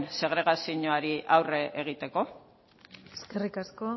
segregazioari aurre egiteko eskerrik asko